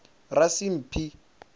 rasimphi